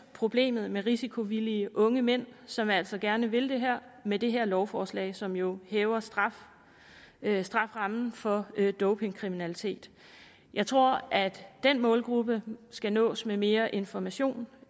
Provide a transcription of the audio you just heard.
problemet med risikovillige unge mænd som altså gerne vil det her med det her lovforslag som jo hæver strafferammen for dopingkriminalitet jeg tror at den målgruppe skal nås med mere information